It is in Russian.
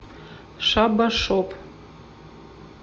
шабба шоп